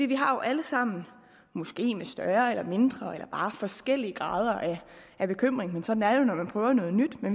vi har jo alle sammen måske med større eller mindre eller bare forskellige grader af bekymring sådan er det jo når man prøver noget nyt